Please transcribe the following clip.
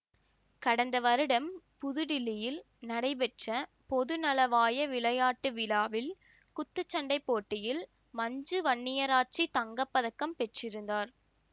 கடந்த வருடம் புது டில்லியில் நடைபெற்ற பொதுநலவாய விளையாட்டு விழாவில் குத்துச்சண்டைப்போட்டியில் மஞ்சு வன்னியாராச்சி தங்க பதக்கம் பெற்றிருந்தார்